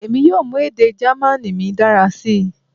Emi yoo mu ede German mi dara si